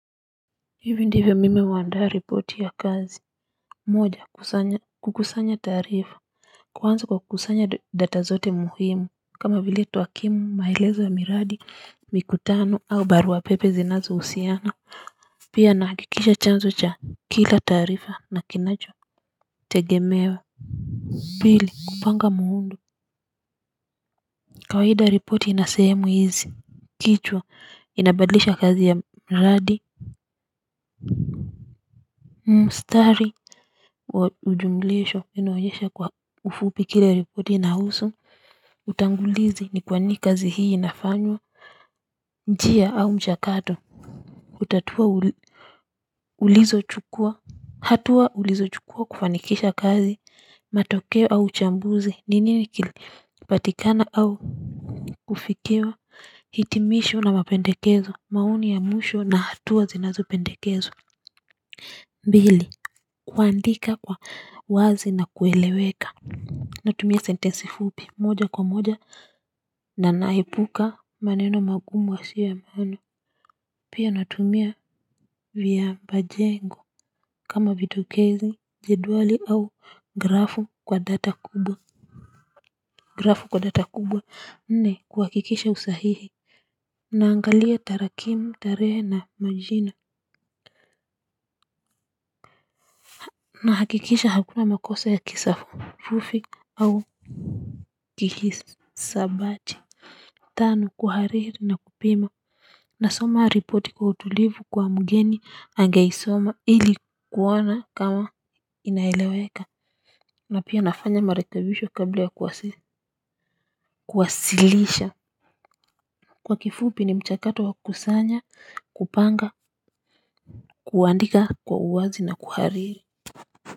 Hivi ndivo mimo huandaa reporti ya kazi moja kusanya kukusanya tarifa kwanza kwa kukusanya data zote muhimu kama vile tuwakimu maelezo ya miradi mikutano au baruapepe zinazo usiana. Pia nahakikisha chanzo cha kila taarifa na kinacho tegemewa pili kupanga muundo kawaida reporti inasehemu hizi kichwa inabadlisha kazi ya miradi mstari ujumlisho, inaoyesha kwa ufupi kile reporti inahusu. Utangulizi ni kwa nini kazi hii inafanywa. Njia au mchakato hutatua ulizo chukua hatua ulizo chukua kufanikisha kazi. Matokeo au uchambuzi. Ni nini kilipatikana au ufikio. Hitimisho na mapendekezo. Maoni ya mwisho na hatua zinazo pendekezwa mbili, kuandika kwa wazi na kueleweka. Natumia sentensi fupi moja kwa moja na na hepuka maneno magumu yasiyo ya maana pia natumia viapajengo kama vitokezi jedwali au grafu kwa data kubwa grafu kwa data kubwa nne kuhakikisha usahihi naangalia tarakimu tarehe na majina na hakikisha hakuna makosa ya kisafufi au kihisabati. Tano kuhariri na kupima. Nasoma ripoti kwa utulivu kwa mgeni angeisoma ili kuona kama inaeleweka. Na pia nafanya marekebisho kabla ya kuwasilisha. Kwa kifupi ni mchakato wa kukusanya, kupanga, kuandika kwa uwazi na kuhariri.